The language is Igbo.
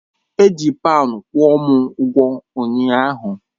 Eji paunds kwụọ m ụgwọ ụnyaahụ.